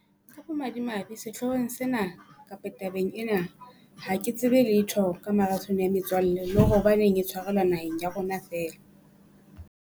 Ka bomadimabe, sehloohong sena kapa tabeng ena, ha ke tsebe letho ka marathone ya metswalle le hore hobaneng e tshwarelwa naheng ya rona fela.